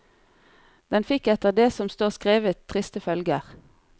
Den fikk etter det som står skrevet triste følger.